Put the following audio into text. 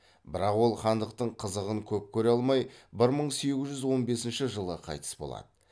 бірақ ол хандықтың қызығын көп көре алмай бір мың сегіз жүз он бесінші жылы қайтыс болады